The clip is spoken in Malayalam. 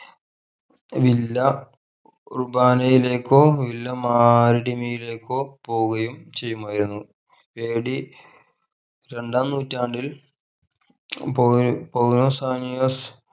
വില്ല റുബാനയിലേക്കോ വില്ല പോവുകയും ചെയ്യുമായിരുന്നു AD രണ്ടാം നൂറ്റാണ്ടിൽ പോയി പോകുന്ന